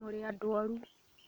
Mũrĩ andũoru